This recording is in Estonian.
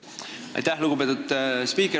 Aitäh, lugupeetud spiiker!